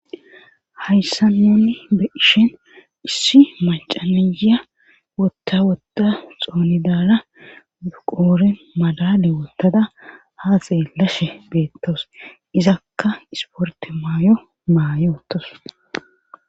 hayssa nunni be ishen issi macaniya wotta wotta xoonidaala uqoore madale wottada ha xeellashe beettoos izakka isporte maayo maayootos